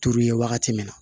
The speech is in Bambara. Turu ye wagati min na